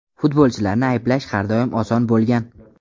Futbolchilarni ayblash har doim oson bo‘lgan.